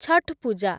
Chhath Puja